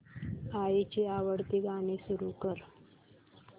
आईची आवडती गाणी सुरू कर